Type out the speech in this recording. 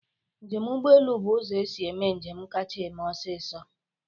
Njem ụgbọ elu bụ ụzọ esi-eme njem kacha eme ọsịsọ.